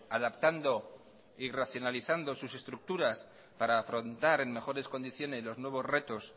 adaptando y racionalizando sus estructuras para afrontar en mejores condiciones los nuevos retos